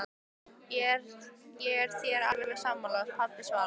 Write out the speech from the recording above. Ég er þér alveg sammála, pabbi svarar